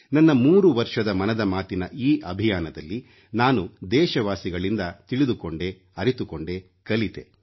ನನ್ನ 3 ವರ್ಷದ ಮನದ ಮಾತಿನ ಈ ಅಭಿಯಾನದಲ್ಲಿ ನಾನು ದೇಶವಾಸಿಗಳಿಂದ ತಿಳಿದುಕೊಂಡೆ ಅರಿತುಕೊಂಡೆ ಕಲಿತೆ